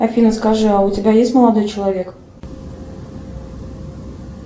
афина скажи а у тебя есть молодой человек